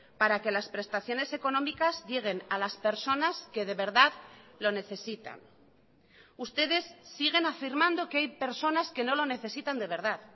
para que las prestaciones económicas lleguen a las personas que de verdad lo necesitan ustedes siguen afirmando que hay personas que no lo necesitan de verdad